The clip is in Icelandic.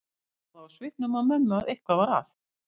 Hann sá það á svipnum á mömmu að eitthvað var að.